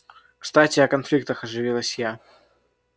кстати о конфликтах оживилась я